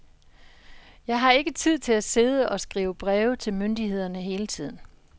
Jeg har ikke tid til at sidde og skrive breve til myndighederne hele tiden.